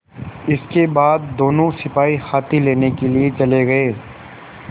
इसके बाद दोनों सिपाही हाथी लेने के लिए चले गए